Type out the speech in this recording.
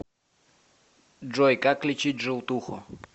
джой как лечить желтуху